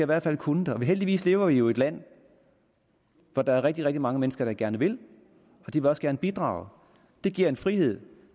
hvert fald kunne det heldigvis lever vi jo i et land hvor der er rigtig rigtig mange mennesker der gerne vil og de vil også gerne bidrage det giver en frihed